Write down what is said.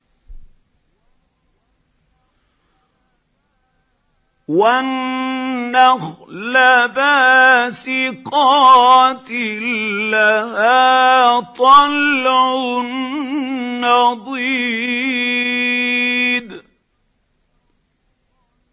وَالنَّخْلَ بَاسِقَاتٍ لَّهَا طَلْعٌ نَّضِيدٌ